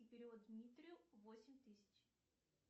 и перевод дмитрию восемь тысяч